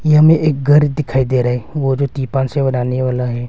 ये हमें एक घर दिखाई दे रहा है वो जो त्रिपाल से बनाने वाला है।